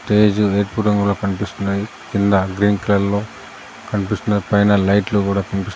stage ఎరుపు రంగులో కనిపిస్తున్నాయి కింద గ్రీన్ కలర్ లో కనిపిస్తున్నాయి పైన లైట్లు కూడా కనిపిస్--